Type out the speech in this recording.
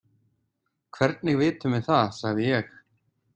Hvernig vitum við það, sagði ég.